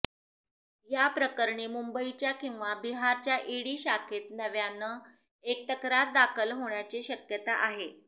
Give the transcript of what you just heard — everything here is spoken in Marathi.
या प्रकरणी मुंबईच्या किंवा बिहारच्या ईडी शाखेत नव्यानं एक तक्रार दाखल होण्याची शक्यता आहे